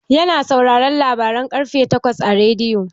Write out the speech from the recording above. Yana sauraren labaran ƙarfe takwas a rediyo.